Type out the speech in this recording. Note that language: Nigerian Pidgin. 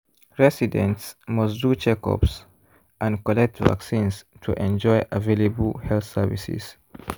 residents must do checkups and collect vaccines to enjoy available health services.